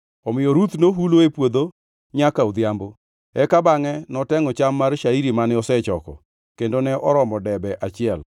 Omiyo Ruth nohulo e puodho nyaka odhiambo. Eka bangʼe notengʼo cham mar shairi mane osechoko, kendo ne oromo debe achiel.